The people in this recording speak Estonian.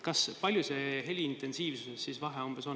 Kui suur see vahe heliintensiivuses on?